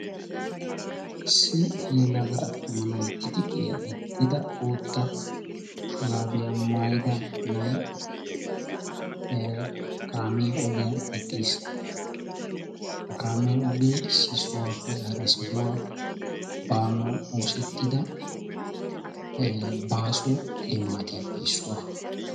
Issi attuma yelaga na"ayi tixiqiya gixxida bootta shuraabiya maayida na"ayi kaamiya ogiyan eqqis. Ha kaamiya ogee issi sohuwappe hara sohuwa oosettida baaso limaatiyappe issuwa.